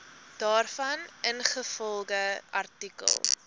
daarvan ingevolge artikel